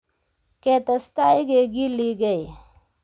"Ketestai kegiligei .